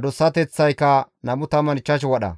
aahoteththaykka 25 wadha.